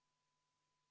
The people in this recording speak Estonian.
Palun kohaloleku kontroll!